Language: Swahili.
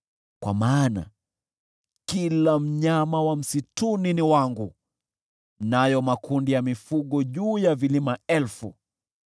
Kwa maana kila mnyama wa msituni ni wangu, na pia makundi ya mifugo juu ya vilima elfu.